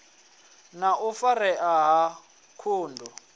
na u farea ha ṱhungu